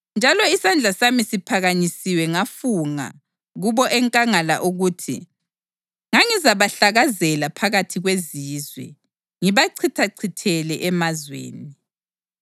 Njalo isandla siphakanyisiwe ngafunga kubo enkangala ukuthi ngangizabahlakazela phakathi kwezizwe ngibachithachithele emazweni,